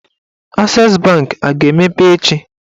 Ases banki a ga-emepe echi?